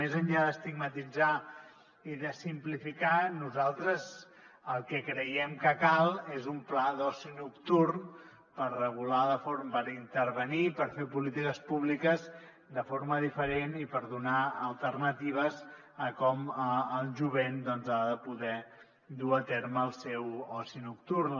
més enllà d’estigmatitzar i de simplificar nosaltres el que creiem que cal és un pla d’oci nocturn per intervenir per fer polítiques públiques de forma diferent i per donar alternatives a com el jovent ha de poder dur a terme el seu oci nocturn